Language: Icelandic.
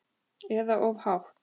Eða of hátt.